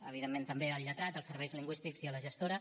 evidentment també al lletrat als serveis lingüístics i a la gestora